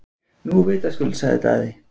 Nú vitaskuld, sagði Daði.